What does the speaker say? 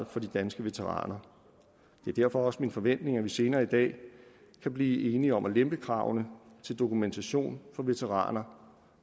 for de danske veteraner det er derfor også min forventning at vi senere i dag kan blive enige om at lempe kravene til dokumentation for veteraner